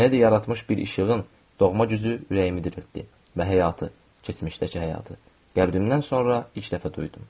Məndə yaratmış bir işığın doğma gücü ürəyimi diriltdi və həyatı, keçmişdəki həyatı, qəlbimdən sonra ilk dəfə duydum.